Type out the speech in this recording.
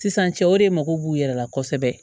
Sisan cɛw de mago b'u yɛrɛ la kosɛbɛ